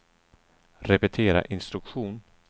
repetera instruktion